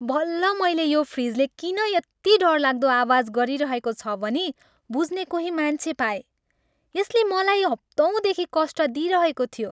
बल्ल मैले यो फ्रिजले किन यति डरलाग्दो आवाज गरिरहेको छ भनी बुझ्ने कोही मान्छे पाएँ! यसले मलाई हप्तौँदेखि कष्ट दिइरहेको थियो!